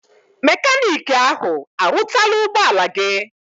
Mekaniki ahụ arụtala ụgbọ ala gị?